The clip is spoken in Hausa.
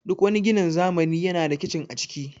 Duk wani ginin zamani yana da kicin a ciki